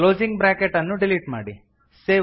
closing bracket ಅನ್ನು delete ಮಾಡಿ